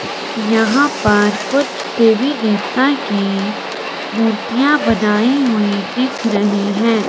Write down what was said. यहां पर कुछ देवी देवता की मूर्तियां बनाई हुई दिख रही हैं।